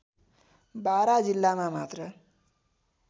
बारा जिल्लामा मात्र